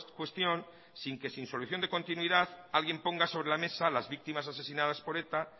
cuestión sin que sin solución de continuidad alguien ponga sobre la mesa las víctimas asesinadas por eta